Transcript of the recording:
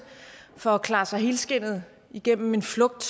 for at klare sig helskindet igennem en flugt